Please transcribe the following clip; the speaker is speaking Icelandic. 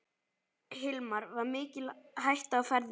Hilmar: Var mikil hætta á ferðum?